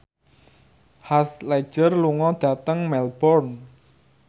Heath Ledger lunga dhateng Melbourne